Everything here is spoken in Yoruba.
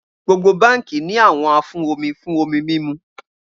Gbogbo banki ni awọn afun omi fun omi mimu